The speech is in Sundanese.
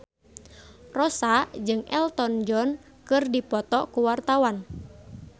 Rossa jeung Elton John keur dipoto ku wartawan